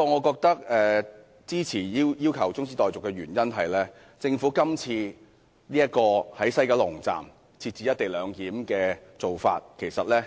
我支持中止待續議案的原因，第一，政府今次在西九龍站設置"一地兩檢"的做法很倉卒，